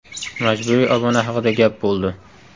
Majburiy obuna haqida gap bo‘ldi.